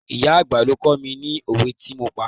Ìyá àgbà ló kó mi ni òwe tí mo pa.